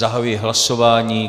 Zahajuji hlasování.